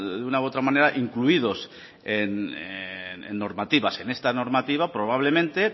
de una u otra manera incluidos en normativas en esta normativa probablemente